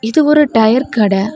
இது ஒரு டையர் கட.